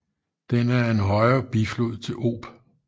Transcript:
Den er en højre biflod til Ob